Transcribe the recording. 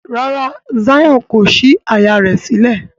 Ràrá Zion kò sí àyá rẹ sílẹ̀.